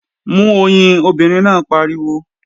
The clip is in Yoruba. Mú oyin, obìnrin náà pariwo!